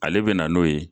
Ale bɛ na n'o ye